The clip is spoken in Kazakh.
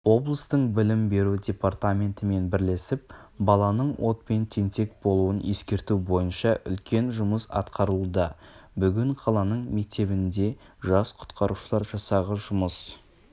облыстың білім беру департаментімен бірлесіп баланың отпен тентек болуын ескерту бойынша үлкен жұмыс атқарылуда бүгін қаланың мектебінде жас құтқарушылар жасағы жұмыс